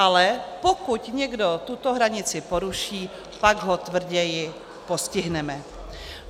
Ale pokud někdo tuto hranici poruší, pak ho tvrději postihneme.